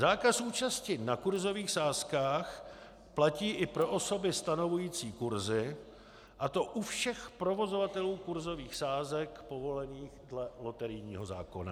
Zákaz účasti na kursových sázkách platí i pro osoby stanovující kursy, a to u všech provozovatelů kursových sázek, povolených dle loterijního zákona.